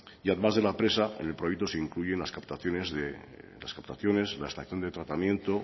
y además de la presa en el proyecto se incluye las captaciones de las actuaciones la estación de tratamiento